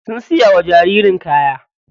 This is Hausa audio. Sun siya wa jaririn kaya.